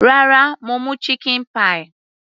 Rárá, mo mú chicken pie.